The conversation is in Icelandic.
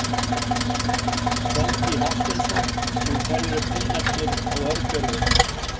Hjálmtý Hafsteinsson Úr hverju eru pinnarnir á örgjörvum?